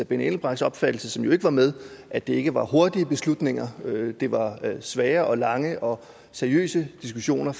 benny engelbrechts opfattelse som jo ikke var med at det ikke var hurtige beslutninger men det var svære og lange og seriøse diskussioner